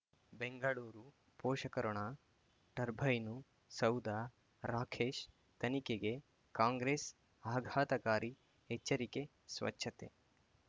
ಬೆಂಗಳೂರು ಪೋಷಕಋಣ ಟರ್ಬೈನು ಸೌಧ ರಾಕೇಶ್ ತನಿಖೆಗೆ ಕಾಂಗ್ರೆಸ್ ಆಘಾತಕಾರಿ ಎಚ್ಚರಿಕೆ ಸ್ವಚ್ಛತೆ